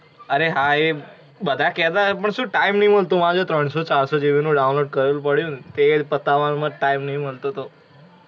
અરે હા એ બધા કેતા હોઇ પણ શું time નહીં મળતો. આજે ત્રણસો- ચારસો GB નુ download કરેલુ પડ્યુ. તે જ પતાવવામાં time નહિ મળતો તો.